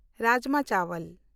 rajma ᱪᱟᱣᱟᱞ